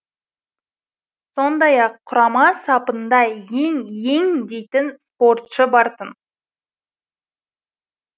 сондай ақ құрама сапында ең ең дейтін спортшы бар тын